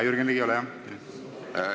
Jürgen Ligi, ole hea!